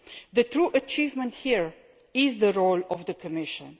The true achievement here is the role of the Commission.